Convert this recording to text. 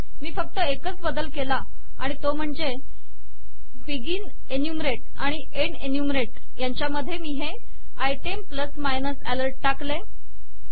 मी फक्त एकच बदल केला आणि तो म्हणजे बिगिन एन्युमरेट आणि एन्ड एन्युमरेट यांच्या मध्ये मी हे आयटेम प्लस मायनस अलर्ट टाकले